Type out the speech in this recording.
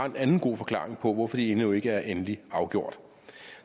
en anden god forklaring på hvorfor de endnu ikke er endeligt afgjort